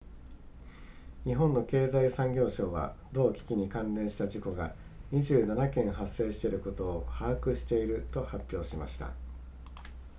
日本の経済産業省は同機器に関連した事故が27件発生していることを把握していると発表しました